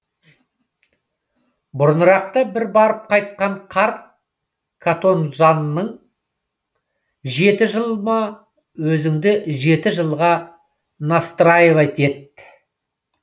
бұрынырақта бір барып қайтқан қарт катонжанның жеті жыл ма өзіңді жеті жылға настраивать ет